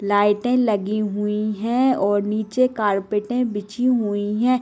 लाइटें लगी हुई हैं और नीचे कार्पेटे बिछी हुई हैं।